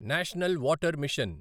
national water machine